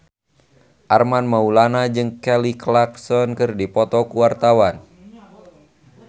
Armand Maulana jeung Kelly Clarkson keur dipoto ku wartawan